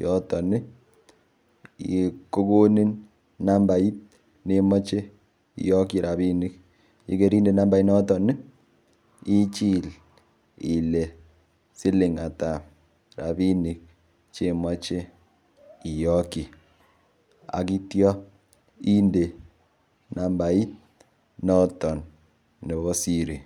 yoton kokonin nambait nemoche iyokchi ropinik yekeinde nambait noton ichile ile siling ata rapinik chemoche iyokchi akityo inde nambait noton nebo siri.